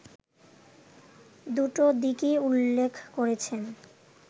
দুটো দিকই উল্লেখ করেছেন